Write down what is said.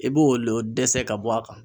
I b'o le dɛsɛ ka bɔ a kan.